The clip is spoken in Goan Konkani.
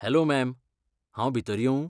हॅलो मॅम, हांव भितर येवूं?